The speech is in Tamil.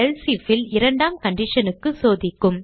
எல்சே If ல் இரண்டாம் condition க்கு சோதிக்கும்